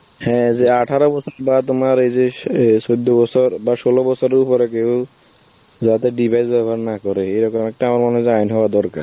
হ্যাঁ যে আঠারো বছর বা তোমার ওই যে স~ অ্যাঁ চৌদ্দ বছর বা ষোলো উপরে যাতে device ব্যবহার না করে, এরকম একটা আমার মনে হয় যে আইন হওয়া দরকার.